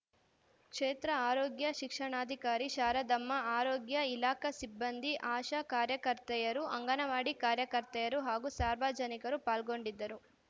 ಕ್ಷೇತ್ರ ಆರೋಗ್ಯ ಶಿಕ್ಷಣಾಧಿಕಾರಿ ಶಾರದಮ್ಮ ಆರೋಗ್ಯ ಇಲಾಖಾ ಸಿಬ್ಬಂದಿ ಆಶಾ ಕಾರ್ಯಕರ್ತೆಯರು ಅಂಗನವಾಡಿ ಕಾರ್ಯಕರ್ತೆಯರು ಹಾಗೂ ಸಾರ್ವಜನಿಕರು ಪಾಲ್ಗೊಂಡಿದ್ದರು